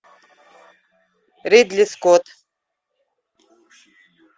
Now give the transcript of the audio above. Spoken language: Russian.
ридли скотт